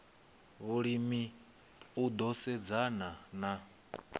vhulimi u ḓo sedzana na